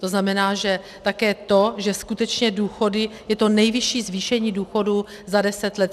To znamená, že také to, že skutečně důchody, je to nejvyšší zvýšení důchodů za deset let.